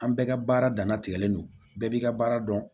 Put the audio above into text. An bɛɛ ka baara dana tigɛlen don bɛɛ b'i ka baara dɔn